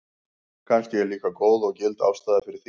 Kannski er líka góð og gild ástæða fyrir því.